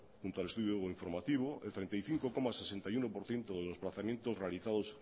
junto al estudio informativo el treinta y cinco coma sesenta y uno por ciento de los desplazamientos realizados